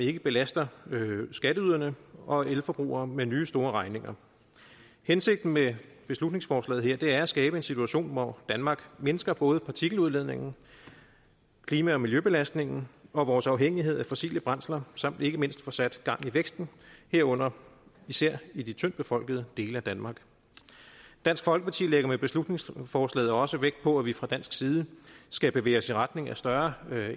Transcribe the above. ikke belaster skatteyderne og elforbrugerne med nye store regninger hensigten med beslutningsforslaget her er at skabe en situation hvor danmark mindsker både partikeludledningen klima og miljøbelastningen og vores afhængighed af fossile brændsler samt at vi ikke mindst får sat gang i væksten herunder især i de tyndtbefolkede dele af danmark dansk folkeparti lægger med beslutningsforslaget også vægt på at vi fra dansk side skal bevæge os i retning af større